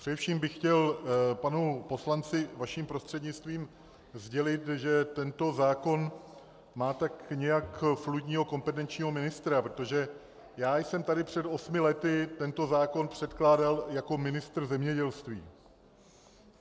Především bych chtěl panu poslanci vaším prostřednictvím sdělit, že tento zákon má tak nějak fluidního kompetenčního ministra, protože já jsem tady před osmi lety tento zákon předkládal jako ministr zemědělství.